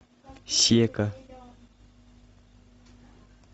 сека